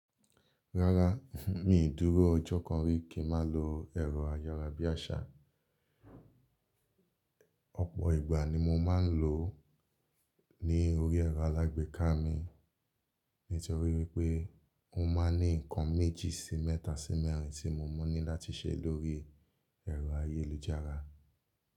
Rárá, mi ò dúró ọjọ́ kan rí kí ma lo ẹ̀rọ ayára bí àṣá. Ọ̀pọ̀ ìgbà ni mo máa ń lò ó ní orí ẹ̀rọ alágbèéká mi nítorí wípé ó máa ń ní nnkan méjì sí mẹ́ta sí mẹ́rin tí mo mọ̀ ní láti ṣe lórí ẹ̀rọ ayélujára.